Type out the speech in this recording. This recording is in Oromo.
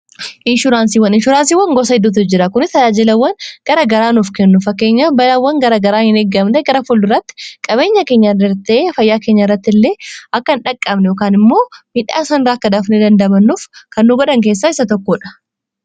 Inshuuraansiiwwan, inshuuraansiiwwan gosa hedduutu jira. Kuni tajaajilawwan gara garaa nuuf kennu. fakkeenya balawwan gara garaa hin eeggamne gara fulduraatti qabeenya keenya darbee fayyaa keenya irratti illee akka hin dhaqqabne yookaan immoo midhaa san irraa akka dafnee dandamannuuf kan nu godhan keessaa isa tokkodha.